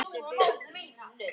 Þar liggja rætur okkar.